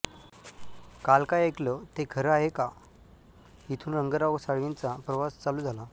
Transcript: काल काय ऐकलं ते खरं हाय का इथून रंगराव साळवींचा प्रवास चालू झाला